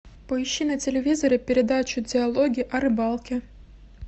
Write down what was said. поищи на телевизоре передачу диалоги о рыбалке